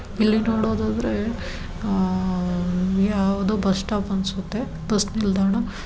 ಇಲ್ಲಿ ಹೊರಡೊದು ಅಂದ್ರೆ ಯಾವದೊ ಬಸ್ ಸ್ಟಾಪ್ ಅನ್ನುತ್ತ ಬಸ್ ನಿಲ್ದಾಣ.